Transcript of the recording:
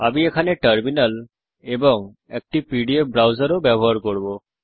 আমি টার্মিনাল এবং একটি পিডিএফ ব্রাউজার ও ব্যবহার করব